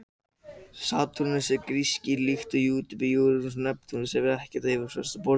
Satúrnus er gasrisi líkt og Júpíter, Úranus og Neptúnus og hefur því ekkert fast yfirborð.